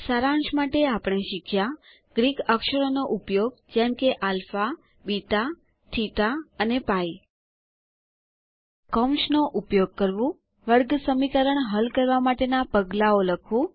સારાંશ માટે આપણે શીખ્યા ગ્રીક અક્ષરોનો ઉપયોગ જેમ કે આલ્ફા બીટા થીટા અને પાઇ કૌંસની મદદથી વર્ગસમીકરણ હલ કરવા માટેના પગલાંઓ લખવું